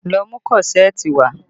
Lọ mú kọ́ṣẹ̀ẹ̀tì wá!